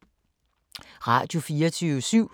Radio24syv